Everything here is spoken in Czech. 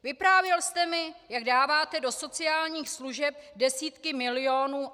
Vyprávěl jste mi, jak dáváte do sociálních služeb desítky milionů.